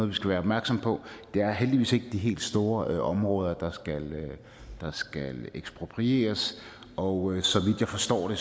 vi skal være opmærksomme på det er heldigvis ikke de helt store områder der skal eksproprieres og så vidt jeg forstår